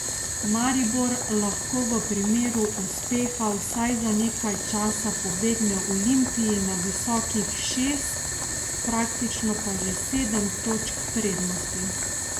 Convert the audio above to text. Maribor lahko v primeru uspeha vsaj za nekaj časa pobegne Olimpiji na visokih šest, praktično pa že sedem točk prednosti!